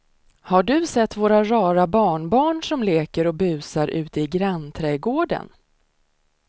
Har du sett våra rara barnbarn som leker och busar ute i grannträdgården!